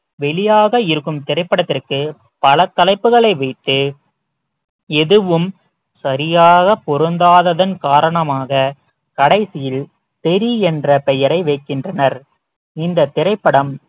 வெளியாக இருக்கும் திரைப்படத்திற்கு பல தலைப்புகளை வைத்து எதுவும் சரியாக பொருந்தாததன் காரணமாக கடைசியில் தெறி என்ற பெயரை வைக்கின்றனர் இந்த திரைப்படம்